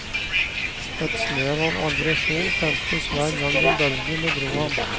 Et snev av aggresjon tentes hver gang en bølge bedro ham.